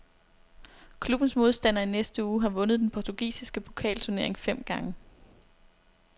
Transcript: Klubbens modstander i næste uge har vundet den portugisiske pokalturnering fem gange.